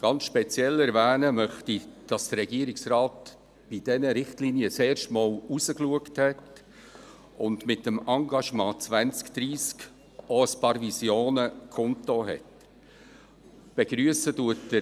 Ganz speziell erwähnen möchte ich, dass der Regierungsrat bei diesen Richtlinien zum ersten Mal hinausgeschaut und mit dem Engagement 2030 auch ein paar Visionen kundgetan hat.